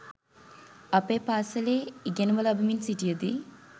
අපේ පාසලේ ඉගෙනුම ලබමින් සිටියදී